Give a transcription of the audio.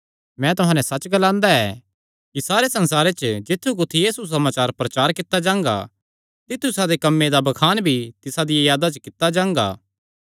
मैं तुहां नैं सच्च ग्लांदा ऐ कि सारे संसारे च जित्थु कुत्थी एह़ सुसमाचार प्रचार कित्ता जांगा तित्थु इसादे इस कम्मे दा बखान भी तिसा दिया यादा च कित्ता जांगा